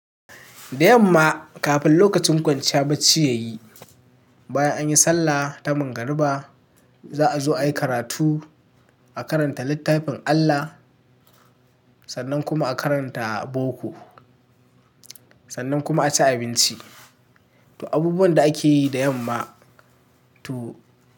Da yamma kafin lokacin kwanciya bacci yayi, bayan an yi sallah ta magariba za a zo a yi karatu, a karanta littafin Allah sannan kuma a karanta boko, sannan kuma a ci abinci. To abubuwan da ake yi da yamma to.